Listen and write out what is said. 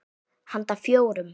Handa fjórum